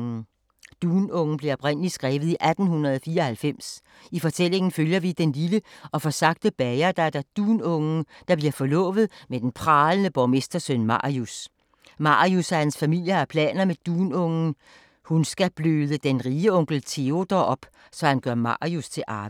Dunungen blev oprindelig skrevet i 1894. I fortællingen følger vi den lille og forsagte bagerdatter Dunungen, der bliver forlovet med den pralende borgmestersøn Marius. Marius og hans familie har planer med Dunungen, hun skal bløde den rige onkel Teodor op, så han gør Marius til arving.